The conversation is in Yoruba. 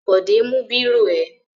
Bọ̀dé mú bírò ẹ?